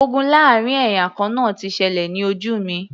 Ogun láàrin ẹ̀yà kan náà ti ṣẹlẹ̀ ní ojú mi